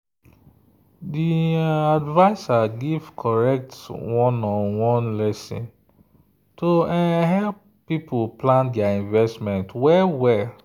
the um adviser give correct one-on-one lesson to um help people plan their investment well.